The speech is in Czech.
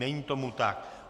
Není tomu tak.